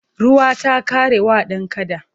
Ruwa ta ƙare wa dan kada.